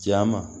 Ja ma